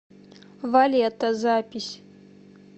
валета запись